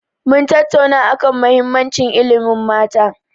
Mun tattauna a kan muhimmanci ilimin mata.